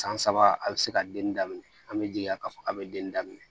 San saba a bɛ se ka den daminɛ an bɛ jiliya k'a fɔ a bɛ denni daminɛ